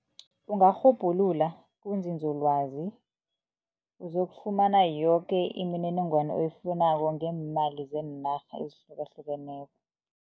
Ungarhubhulula kuzinzolwazi, uzokufumana yoke imininingwana oyifunako ngeemali zeenarha ezihlukahlukeneko.